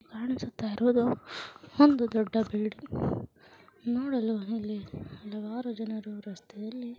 ಕಾಣಿಸುತ್ತ ಇರುವುದು ಒಂದು ದೊಡ್ಡ ಬಿಲ್ಡಿಂಗ್ ನೋಡಲು ಅಲ್ಲಿ ಹಲವಾರು ಜನರು ರಸ್ತೆಯಲ್ಲಿ --